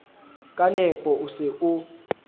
ka nepo o se o